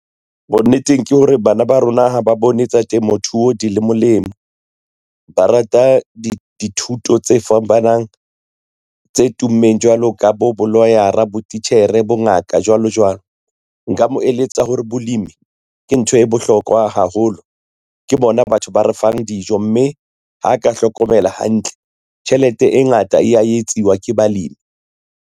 Bonneteng ke hore bana ba rona ha ba bone tsa temothuo di le molemo, ba rata dithuto tse fapanang tse tummeng jwalo ka bo bo-lawyer-a, botitjhere, bongaka, jwalo jwalo. Nka mo eletsa hore bolemi ke ntho e bohlokwa haholo ke bona batho ba re fang dijo, mme ha ka hlokomela hantle tjhelete e ngata e ya etsiwa ke balemi.